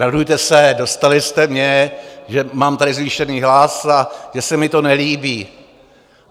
Radujte se, dostali jste mě, že mám tady zvýšený hlas a že se mi to nelíbí.